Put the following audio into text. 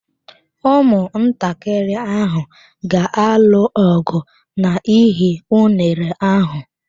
Ụmụntakịrị ahụ ga-alụ ọgụ n'ihi unere ahụ.